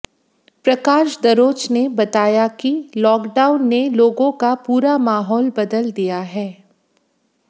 प्रकाश दरोच ने बताया कि लॉकडाउन ने लोगों का पूरा माहौल बदल दिया है